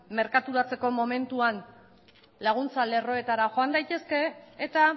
merkaturatzeko momentuan laguntza lerroetara joan daitezke eta